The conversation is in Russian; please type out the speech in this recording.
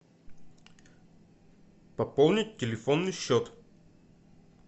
пополнить телефонный счет